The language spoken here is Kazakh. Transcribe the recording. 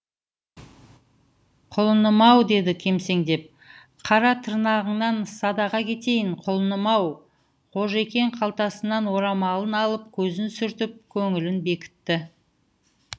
құлыным ау деді кемсеңдеп қара тырнағыңнан садаға кетейін құлыным ау қожекең қалтасынан орамалын алып көзін сүртіп көңілін бекітті